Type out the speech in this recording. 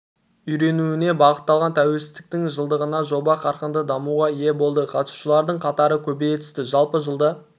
үйренуіне бағытталған тәуелсіздіктің жылдығында жоба қарқынды дамуға ие болды қатысушылардың қатары көбейе түсті жалпы жылда